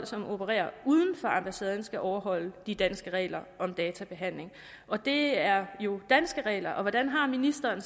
som opererer uden for ambassaden skal overholde de danske regler om databehandling og det er jo danske regler så hvordan har ministeren